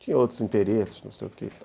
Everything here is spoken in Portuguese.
Tinha outros interesses, não sei o que.